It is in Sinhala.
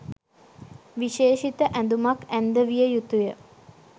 විශේෂිත ඇඳුමක් ඇන්දවිය යුතුය.